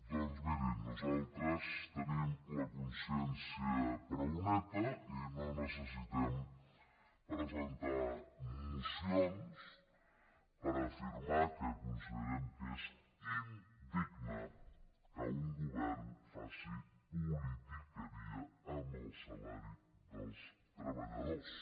doncs mirin nosaltres tenim la consciència prou neta i no necessitem presentar mocions per afirmar que considerem que és indigne que un govern faci politiqueria amb el salari dels treballadors